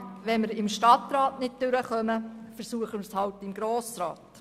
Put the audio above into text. Wenn wir im Stadtrat nicht durchkommen, versuchen wir es halt im Grossen Rat.